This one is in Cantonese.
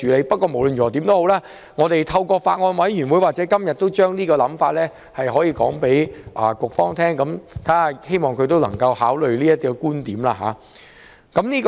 不論如何，我們透過法案委員會或今天的會議向局方提出想法，希望局方可以考慮這個觀點。